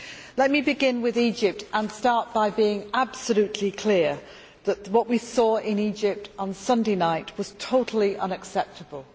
Let me begin with Egypt and start by being absolutely clear that what we saw in Egypt on Sunday night was totally unacceptable.